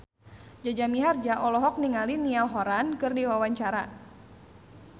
Jaja Mihardja olohok ningali Niall Horran keur diwawancara